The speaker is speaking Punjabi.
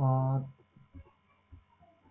ਹਮ